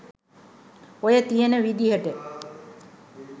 ඔය තියෙන විදිහට